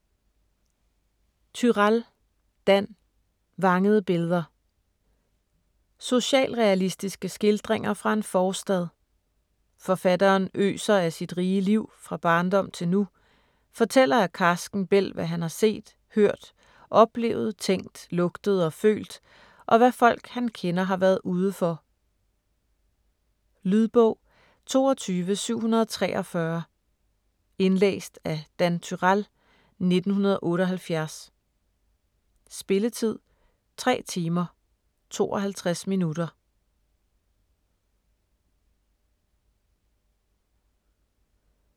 Turèll, Dan: Vangede billeder Socialrealistiske skildringer fra en forstad. Forfatteren øser af sit rige liv, fra barndom til nu, fortæller af karsken bælg hvad han har set, hørt, oplevet, tænkt, lugtet og følt, og hvad folk han kender har været ude for. Lydbog 22743 Indlæst af Dan Turèll, 1978. Spilletid: 3 timer, 52 minutter.